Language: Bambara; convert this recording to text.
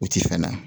U ti fɛn na